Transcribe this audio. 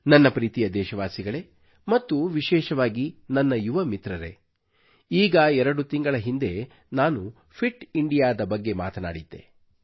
ನನ್ನ ಪ್ರೀತಿಯ ದೇಶವಾಸಿಗಳೇ ಮತ್ತು ವಿಶೇಷವಾಗಿ ನನ್ನ ಯುವ ಮಿತ್ರರೇ ಈಗ ಎರಡು ತಿಂಗಳ ಹಿಂದೆ ನಾನು ಫಿಟ್ ಇಂಡಿಯಾದ ಬಗ್ಗೆ ಮಾತನಾಡಿದ್ದೆ